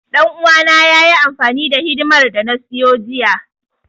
Ɗan uwana yayi amfani da hidimar da na siyo jiya.